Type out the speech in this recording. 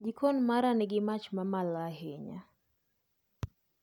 Jiko mara nigi mach mamalo ahinya